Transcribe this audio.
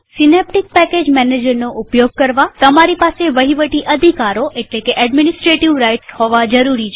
Synaptic package મેનેજરનો ઉપયોગ કરવા તમારી પાસે વહીવટી અધિકારો એટલેકે એડમિનિસ્ટ્રેટિવ રાઇટ્સ હોવા જરૂરી છે